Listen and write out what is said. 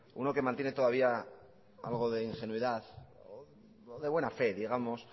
uno que mantiene todavía algo de ingenuidad de buena fe digamos